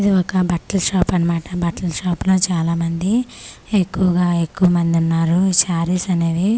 ఇది ఒక బట్టల షాప్ అన్నమాట బట్టల షాప్ లో చాలా మంది ఎక్కువగా ఎక్కు మంది ఉన్నారు షారీస్ అనేవి .]